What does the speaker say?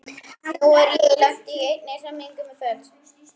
Nú er ég lent í einni hremmingu með föt.